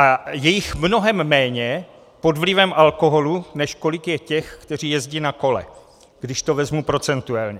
A je jich mnohem méně pod vlivem alkoholu, než kolik je těch, kteří jezdí na kolech, když to vezmu procentuálně.